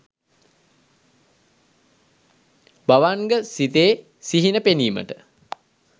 භවන්ග සිතේ සිහින පෙනීමට